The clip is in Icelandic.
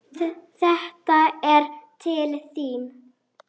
Þetta er til þín